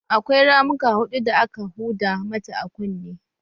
Akwai ramuka hudu da aka huda mata a kunne